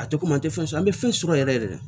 A tɛ komi an tɛ fɛn sɔrɔ an bɛ fɛn sɔrɔ yɛrɛ yɛrɛ de